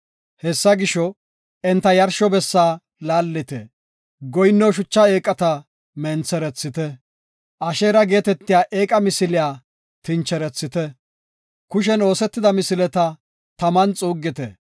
Hessa gisho, enta yarsho bessa laallite; goyinno shucha eeqata mentherethite. Asheera geetetiya eeqa misiliya tincherethite; kushen oosetida misileta taman xuuggite.